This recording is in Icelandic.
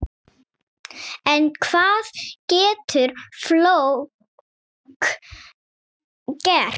En hvað getur fólk gert?